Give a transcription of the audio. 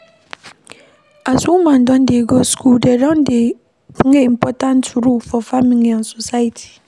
As women don dey go school dem don dey play important role for family and society